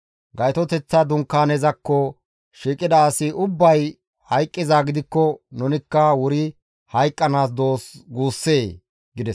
Gaytoteththa Dunkaanezakko shiiqida asi ubbay hayqqizaa gidikko nunikka wuri hayqqanaas doos guussee?» gides.